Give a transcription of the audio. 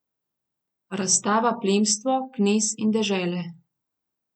Razstava Plemstvo, knez in dežele.